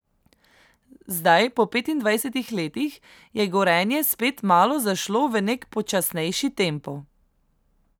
Zdaj, po petindvajsetih letih, je Gorenje spet malo zašlo v nek počasnejši tempo.